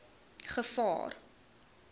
gevaar